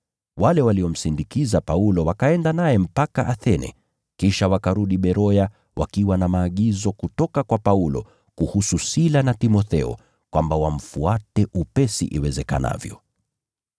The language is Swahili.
Wale waliomsindikiza Paulo wakaenda naye mpaka Athene, kisha wakarudi Beroya wakiwa na maagizo kutoka kwa Paulo kuhusu Sila na Timotheo kwamba wamfuate upesi iwezekanavyo.